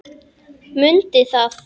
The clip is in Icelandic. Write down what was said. Mundi það.